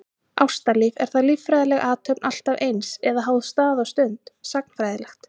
Ástalíf, er það líffræðileg athöfn alltaf eins, eða háð stað og stund, sagnfræðilegt?